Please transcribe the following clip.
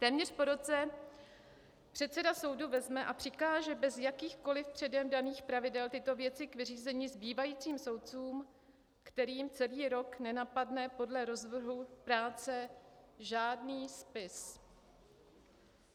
Téměř po roce předseda soudu vezme a přikáže bez jakýchkoli předem daných pravidel tyto věci k vyřízení zbývajícím soudcům, kterým celý rok nenapadne podle rozvrhu práce žádný spis.